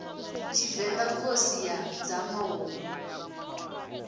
tshivenḓa khosi ya dzama hu